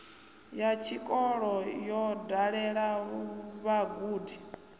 ya tshikolo yo dalela vhagudi